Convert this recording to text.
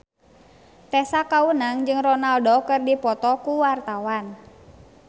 Tessa Kaunang jeung Ronaldo keur dipoto ku wartawan